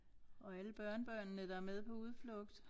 Og alle børnebørnene der er med på udflugt